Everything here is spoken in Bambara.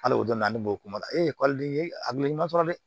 Hali o donna ne bolo kuma la a hakili ɲuman sɔrɔ dɛ